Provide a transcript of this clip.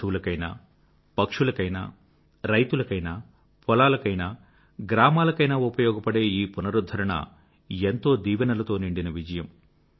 పశువులకైనా పక్షులకైనా రైతులకైనా పొలాలకైనా గ్రామాలకైనా ఉపయోగపడే ఈ పునరుధ్ధరణ ఎంతో దీవెనలతో నిండిన విజయం